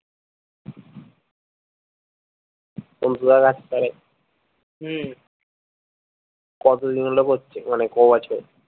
সন্তুদা কাজ করে হম কতদিন হলো করছে মানে ক বছর